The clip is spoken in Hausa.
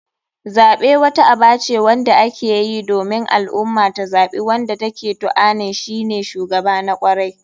Zaɓe wata aba ce wanda akeyi domin al ummah ta zaɓi wanda take tuanin shine shugaba na kwarai.